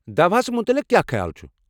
دوہَس متعلق کیٚا خیال چھ؟